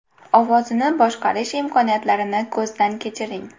Ovozini boshqarish imkoniyatlarini ko‘zdan kechiring.